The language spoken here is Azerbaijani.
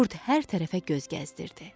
Qurd hər tərəfə göz gəzdirdi.